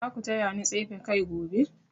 Za ku taya ni tsefe kai gobe.